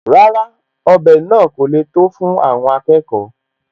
Rárá, ọbẹ̀ náà kò le tó fún àwọn akẹkọ̀ọ́